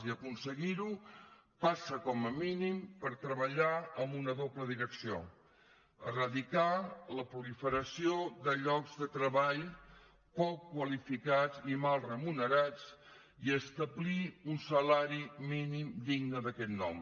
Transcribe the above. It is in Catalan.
i aconseguir ho passa com a mínim per treballar en una doble direcció eradicar la proliferació de llocs de treball poc qualificats i mal remunerats i establir un salari mínim digne d’aquest nom